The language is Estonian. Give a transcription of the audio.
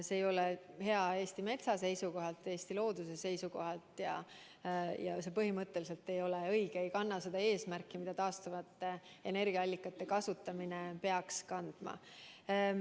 See ei ole hea Eesti metsa seisukohalt, Eesti looduse seisukohalt ja see põhimõtteliselt ei ole õige, ei kanna seda eesmärki, mida taastuvate energiaallikate kasutamine peaks kandma.